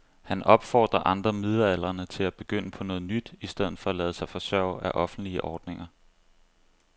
Han opfordrer andre midaldrende til at begynde på noget nyt i stedet for at lade sig forsørge af offentlige ordninger.